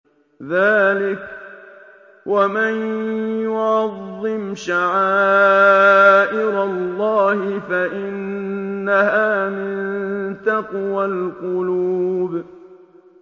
ذَٰلِكَ وَمَن يُعَظِّمْ شَعَائِرَ اللَّهِ فَإِنَّهَا مِن تَقْوَى الْقُلُوبِ